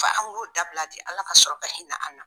Fo an k'o dabila de Ala ka sɔrɔ ka hinɛ an na